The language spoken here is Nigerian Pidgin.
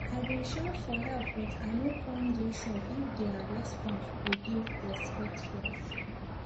i bin shout for help but i no come dey sure if their response go dey respectful